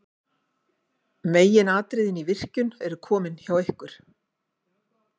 meginatriðin í virkjun eru komin hjá ykkur